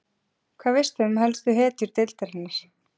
Hvað veistu um helstu hetjur deildarinnar?